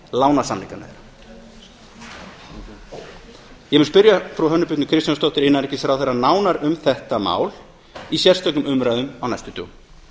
lánasamningana þeirra ég mun spyrja frú hönnu birnu kristjánsdóttur innanríkisráðherra nánar um þetta mál í sérstökum umræðum á næstu dögum